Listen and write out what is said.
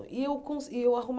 E eu com e eu